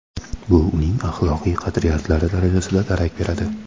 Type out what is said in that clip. Bu uning axloqiy qadriyatlari darajasida darak beradi.